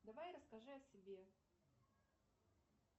давай расскажи о себе